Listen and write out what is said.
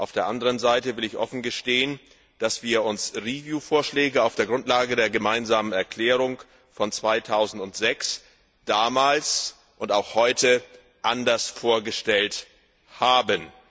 Auf der anderen Seite will ich offen gestehen, dass wir uns Vorschläge auf der Grundlage der Gemeinsamen Erklärung von 2006 damals und auch heute anders vorgestellt haben.